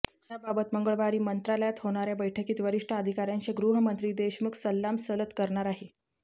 याबाबत मंगळवारी मंत्रालयात होणार्या बैठकीत वरिष्ठ अधिकार्यांशी गृहमंत्री देशमुख सल्लामसलत करणार आहेत